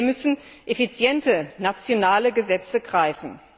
Hier müssen effiziente nationale Gesetze greifen.